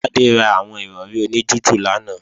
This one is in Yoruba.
Tádé ra àwọn Ìrọ̀rí oní jújù lánàá